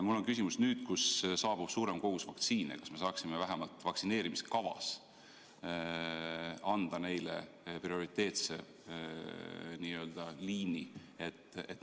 Mul on küsimus: nüüd, kui saabub suurem kogus vaktsiine, kas me saaksime vähemalt vaktsineerimiskavas avada neile prioriteetse liini?